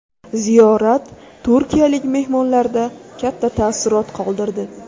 Ziyorat turkiyalik mehmonlarda katta taassurot qoldirdi.